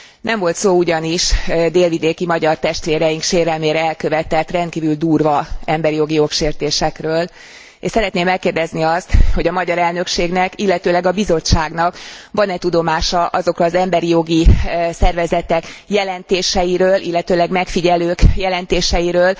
Nem volt szó ugyanis délvidéki magyar testvéreink sérelmére elkövetett rendkívül durva emberjogi jogsértésekről, és szeretném megkérdezni azt, hogy a magyar elnökségnek, illetőleg a Bizottságnak van e tudomása azokról az emberi jogi szervezetek jelentéseiről, illetőleg megfigyelők jelentéseiről,